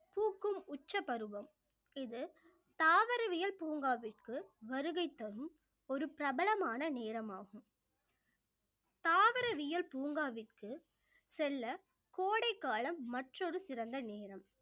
பூக்கும் உச்ச பருவம் இது தாவரவியல் பூங்காவிற்கு வருகை தரும் ஒரு பிரபலமான நேரமாகும் தாவரவியல் பூங்காவிற்கு செல்ல கோடைக்காலம் மற்றொரு சிறந்த நேரம்